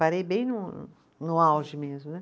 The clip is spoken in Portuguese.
Parei bem no no auge mesmo, né?